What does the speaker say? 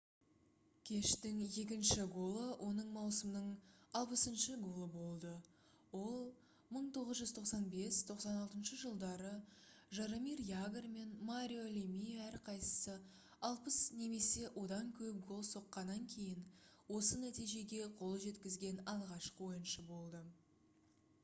кештің екінші голы оның маусымның 60-шы голы болды ол 1995-96 жылдары жаромир ягр мен марио лемие әрқайсысы 60 немесе одан көп гол соққаннан кейін осы нәтижеге қол жеткізген алғашқы ойыншы болды